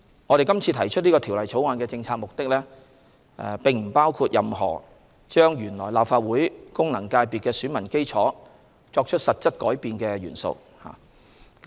我們今次提出《條例草案》的政策目的並不包括對原來立法會功能界別的選民基礎作出實質改變。